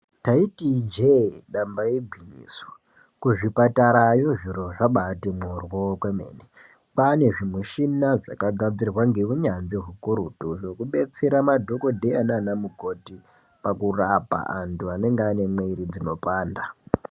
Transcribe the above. Taiti ijee damba igwinyiso kuzvipatarayo zviro zvabaati boryo kwemene kwaane zvimuchina zvakagadzirwa ngeunyanzvi ukurutu zvekudetsere madhokodeya nanamukoti pakurapa anthu anenge mwiri dzinopanda.